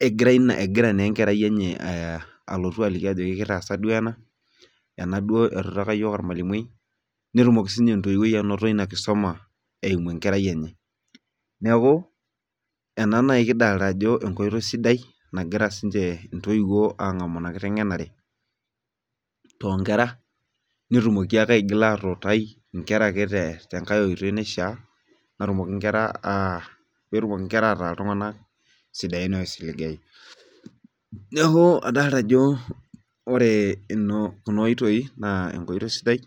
egira naa enkerai enye alotu ajoki kitaaza duoo ena. enaduoo. netumoki sii ninye entoiwuoi atayiolo enkisuma eimu enkerai enye. neeku ena naji kidolta ajo esidai, nagira sii ninche ntoiwuo aangamu Ina kitengenarr too nkera. netumoki ake aigil atiitai nkera ake te, nkae oitoi naishaa pee etumoki nkera, ataa iltunganak sidain oisiligayu. neeku adolta ajo. ore eimu Nena oitoi naa esidai